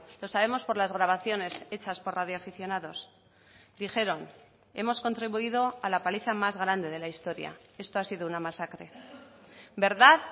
lo sabemos por las grabaciones hechas por radioaficionados dijeron hemos contribuido a la paliza más grande de la historia esto ha sido una masacre verdad